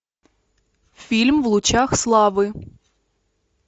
фильм в лучах славы